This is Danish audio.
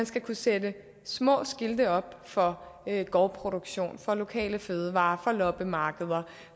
skal kunne sætte små skilte op for gårdproduktion for lokale fødevarer for loppemarkeder